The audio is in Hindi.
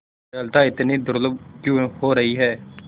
दयालुता इतनी दुर्लभ क्यों हो रही है